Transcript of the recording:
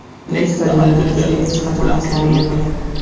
Bu stadionda bizga hech qachon oson bo‘lmagan.